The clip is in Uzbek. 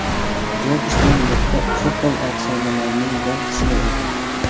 Jobsning nutqi Apple afsonalarining bir qismi edi.